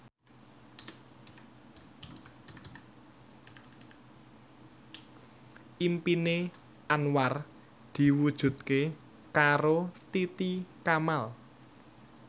impine Anwar diwujudke karo Titi Kamal